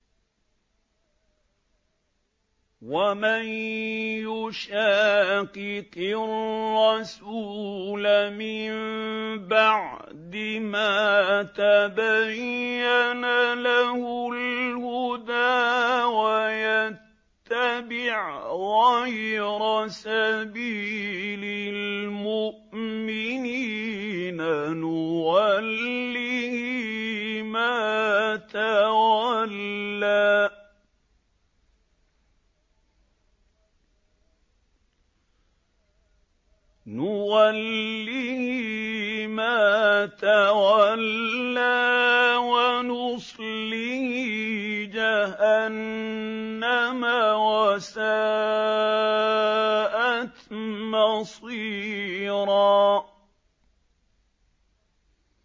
وَمَن يُشَاقِقِ الرَّسُولَ مِن بَعْدِ مَا تَبَيَّنَ لَهُ الْهُدَىٰ وَيَتَّبِعْ غَيْرَ سَبِيلِ الْمُؤْمِنِينَ نُوَلِّهِ مَا تَوَلَّىٰ وَنُصْلِهِ جَهَنَّمَ ۖ وَسَاءَتْ مَصِيرًا